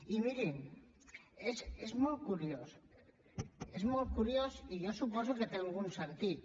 i mirin és molt curiós és molt curiós i jo suposo que té algun sentit